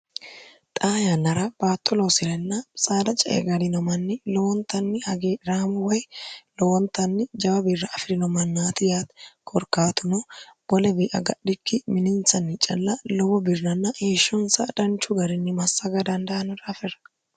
xa yannara baatto loosirenna saara cae garinomanni lowontanni hagiraamo way lowontanni jawa birra afi'rino mannaatiya koorkaatuno bolebia gadhikki mininsanni cilla lowo birranna heeshshonsa dhanchu garinni massaga dandaanura afirra